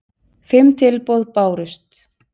Fimm tilboð bárust